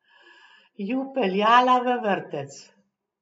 Ju peljala v vrtec.